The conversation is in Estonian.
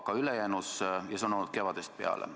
Ka see on olnud kevadest peale.